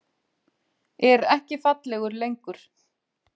Er ekki fallegur lengur.